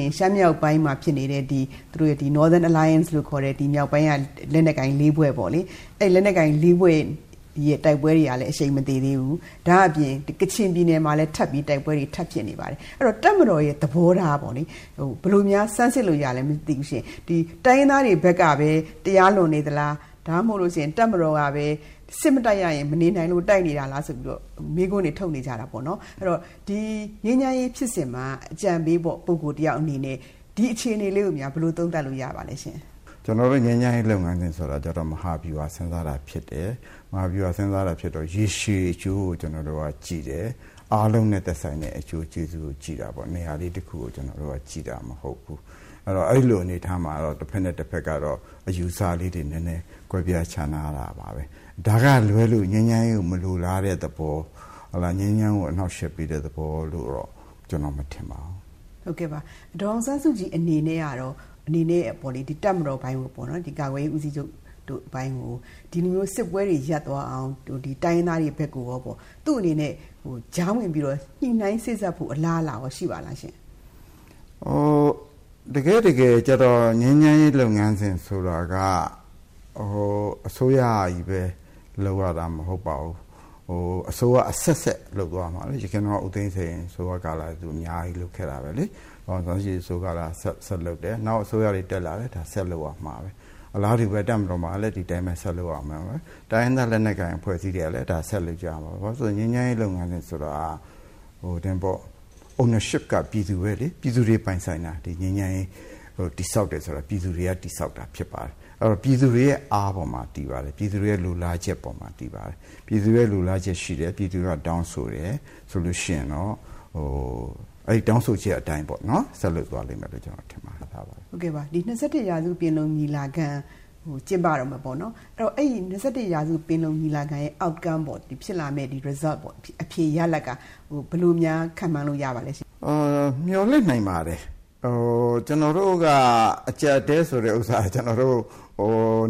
ရင် ရှမ်းမြောက်ပိုင်းမှာဖြစ်နေတဲ့ ဒီ Northern Alliance လို့ခေါ်တဲ့ ဒီမြောက်ပိုင်းက လက်နက်ကိုင်၄ ဖွဲ့ပေါ့နော်။ အဲဒီလက်နက်ကိုင် ၄ ဖွဲ့ရဲ့ တိုက်ပွဲတွေကလည်း အရှိန်မသေသေးဘူး။ ဒါ့အပြင် ကချင်ပြည်နယ်မှာလည်း တိုက်ပွဲတွေ ထပ်ပြီးတော့ ဖြစ်နေပါတယ်။ အဲဒီတော့ တပ်မတော်ရဲ့ သဘောထားပေါ့လေ၊ ဘယ်လိုများဆန်းစစ်လို့ရပါသလဲရှင့်။ ဒီတိုင်းရင်းသားတွေဘက်ကပဲ တရားလွန်နေသလား။ ဒါမှမဟုတ်လို့ရှိရင် တပ်မတော်ကပဲ စစ်မတိုက်ရရင် မနေနိုင်လို့ တိုက်နေတာလားဆိုပြီးတော့ မေးခွန်းတွေထုတ်နေကြတာပေါ့နော်။ အဲဒီတော့ ငြိမ်းချမ်းရေးဖြစ်စဉ်မှာ အကြံပေး ပုဂ္ဂိုလ် တယောက်အနေနဲ့ ဒီအခြေအနေလေးကိုများ ဘယ်လိုသုံးသပ်လို့ ရပါသလဲရှင့်။ ဦးအောင်ကြည်။ ။ကျနော်တို့ ငြိမ်းချမ်းရေးလုပ်ငန်းစဉ်ဆိုတာက မဟာဗျူဟာစဉ်းစားတာ ဖြစ်တယ်။ မဟာဗျူဟာစဉ်းစားတာဖြစ်တဲ့အတွက် ရေရှည်အကျိုးကို ကြည့်တယ်။ အားလုံးနဲ့ သက်ဆိုင်တဲ့ အကျိုးကျေးဇူးကိုကြည့်တာပေါ့နော်၊ နေရာလေးတခုကို ကြည့်တာမဟုတ်ဘူး။ အဲဒီတော့ အဲလိုအနေအထားမှာတော့ တဖက်နဲ့တဖက် ကတော့ အယူအဆလေးတွေ နည်းနည်း ကွဲပြားခြားနားတာပါပဲ။ ဒါကလွဲလို့ ငြိမ်းချမ်းရေးကို မလိုတဲ့သဘော ၊ ငြိမ်းချမ်းရေးကို အနှောက်အယှက်ပေးတဲ့သဘောလို့တော့ ကျနော်မထင်ပါဘူး။ ဒေါ်ခင်စိုးဝင်း။ ။ ဟုတ်ကဲ့ပါ ဒေါ်အောင်ဆန်းစုကြည် အနေနဲ့က တပ်မတော်ပိုင်းကို ပေါ့နော်ဒီကာကွယ်ရေး ဦးစီးချုပ် တို့အပိုင်းကို ဒီလိုမျိုးစစ်ပွဲတွေရပ်သွားအောင် တိုင်းရင်းသားတွေဘက်ကိုရောပေါ့ သူ့အနေနဲ့ ကြားဝင်ပြီးတော့ ညှိနှိုင်းစေ့စပ်ဖို့ အလားအလာရှိပါသလားခင်ဗျ။ ဦးအောင်ကြည်။ ။တကယ့်တကယ်က ငြိမ်းချမ်းရေးလုပ်ငန်းစဉ်ဆိုတာက အစိုးရကြီးပဲ လုပ်ရတာမဟုတ်ပါဘူး။ အစိုးရအဆက်ဆက်လုပ်သွားရမှာပဲလေ၊ ယခင် ဦးသိန်းစိန်အစိုးရကာလတုန်းကလည်း သူအများကြီးလုပ်ခဲ့တာပဲလေ။ အခု ဒေါ်အောင်ဆန်းစုကြည်အစိုးရက ဆက်လုပ်တယ်။ နောက်အစိုးရတွေတက်လာတယ်။ ဒါဆက်လုပ်ရမှာပဲ၊ အလားတူ တပ်မတော်မှာလည်း ဒီအတိုင်းပဲ ဆက်လုပ်ရမှာပဲ၊ တိုင်းရင်းသားလက်နက်ကိုင်အဖွဲ့အစည်းတွေကလည်း ဒါကို ဆက်လုပ် ကြရမှာပဲလေ၊ ဘာဖြစ်လို့လဲဆိုတော့ ငြိမ်းချမ်းရေးလုပ်ငန်းစဉ်ဆိုတာက Ownership က ပြည်သူတွေပဲလေ၊ ပြည်သူတွေပိုင်ဆိုင်တာ ၊ ဒီငြိမ်းချမ်းရေး တည်ဆောက်တယ်ဆိုတာကတော့ ပြည်သူတွေက တည်ဆောက်တာဖြစ်ပါတယ်။ အဲဒီတော့ ပြည်သူတွေအားပေါ်မှာတည်ပါတယ်။ ပြည်သူတွေရဲ့ လိုလားချက်ပေါ်မှာ တည်ပါတယ်။ပြည်သူတွေရဲ့ လိုလားချက်ရှိတယ်၊ ပြည်သူတွေကတောင်းဆိုတယ်၊ ဆိုရင်တော့ အဲဒီတောင်းဆိုချက်အတိုင်း ဆက်လုပ်သွားမယ်လို့ ကျနော် ထင်ပါတယ်။ ဒေါ်ခင်စိုးဝင်း ။ ။ ဟုတ်ကဲ့ပါ။ ဒီ ၂၁ ရာစု ပင်လုံ ညီလာခံ ကျင်းပတော့မယ်ပေါ့နော် အဲဒီတော့ ၂၁ ရာစု ပင်လုံညီလာခံ ရဲ့ Outcome ပေ့ါ ဖြစ်လာမယ့် Result ပေါ့ အဖြေရလဒ်က ဘယ်လိုများ ခန့်မှန်းလို့ရပါသလဲ။ ဦးအောင်ကြည်။ ။ မျှော်လင့်နိုင်ပါတယ်၊ ကျနော်တို့က အကျပ်အတည်းဆိုတဲ့ဟာကတော့